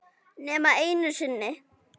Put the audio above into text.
Nema einu sinni.